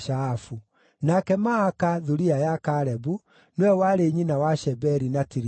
Nake Maaka, thuriya ya Kalebu, nĩwe warĩ nyina wa Sheberi na Tirihana.